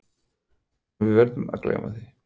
En við verðum að gleyma því.